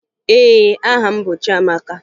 Ee, aha m bụ Chiamaka